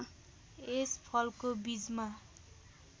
यस फलको बीजमा